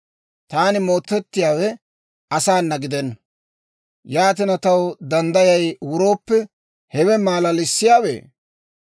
Taani mootettiyaawe asaana gidenna. Yaatina, taw danddayay wurooppe, hewe malalissiyaawe?